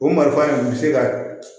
O marifan dun bɛ se ka